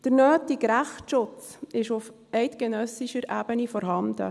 Der nötige Rechtsschutz ist auf eidgenössischer Ebene vorhanden.